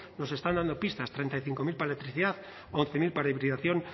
nos están dando pistas treinta y cinco mil para electricidad once mil para hibridación